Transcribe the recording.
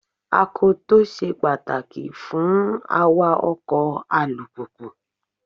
Akoto ṣe pàtàkì fún awa ọkọ̀ alùpùpù.